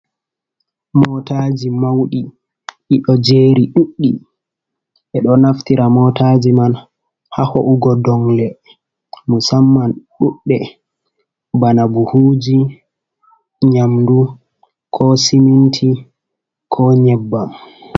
Motaji mauɗi: Di do jeri ɗuɗɗi. Bedo naftira motaji man ha ho’ugo dongle musamman ɗuɗde bana buhuji, nyamdu, ko siminti, ko nyebbam.